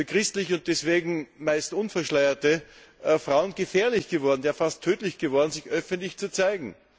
für christliche und deswegen meist unverschleierte Frauen gefährlich, ja fast tödlich geworden, sich öffentlich zu zeigen.